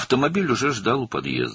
Avtomobil artıq binanın qarşısında gözləyirdi.